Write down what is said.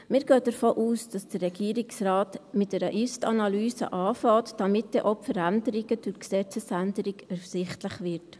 Wir gehen davon aus, dass der Regierungsrat mit einer Ist-Analyse beginnt, damit dann auch die Veränderungen durch die Gesetzesänderung ersichtlich werden.